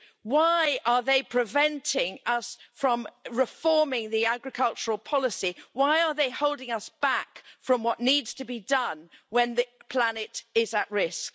Why are they preventing us from reforming the agricultural policy? Why are they holding us back from what needs to be done when the planet is at risk?